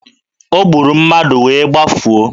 O gburu mmadụ wee gbafuo.